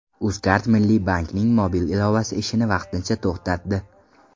UzCard Milliy bankning mobil ilovasi ishini vaqtincha to‘xtatdi.